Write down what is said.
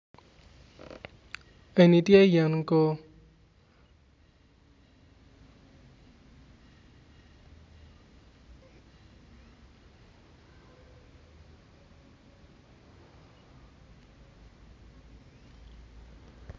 Eni tye yen koo